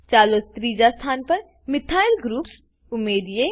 ચાલો ત્રીજા સ્થાન પર મિથાઇલ ગ્રુપ્સ મિથાઈલ ઉમેરીએ